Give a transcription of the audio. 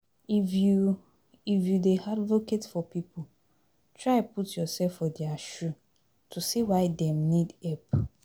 If you If you dey advocate for pipo, try put youself for their shoe to see why dem need help